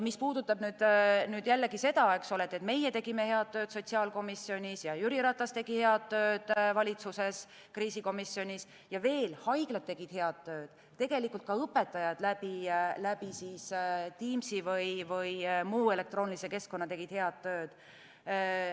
Mis puudutab seda, et meie tegime head tööd sotsiaalkomisjonis ja Jüri Ratas tegi head tööd valitsuses, kriisikomisjonis, ja veel haiglad tegid head tööd, tegelikult ka õpetajad läbi Teamsi või muu elektroonilise keskkonna tegid head tööd ...